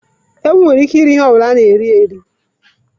Ewu nwere ike iri ihe ọ bụla a ga-eri.